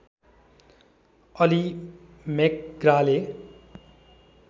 Ali MacGraw